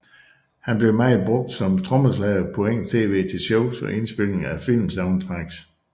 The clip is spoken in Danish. Han blev meget brugt som trommeslager på engelsk tv til shows og indspilninger af filmsoundtracks